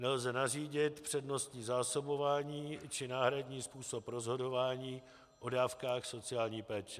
Nelze nařídit přednostní zásobování či náhradní způsob rozhodování o dávkách sociální péče.